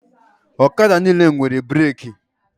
Ọkada niile nwere breki